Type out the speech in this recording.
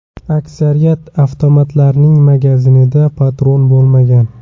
Aksariyat avtomatlarning magazinida patron bo‘lmagan.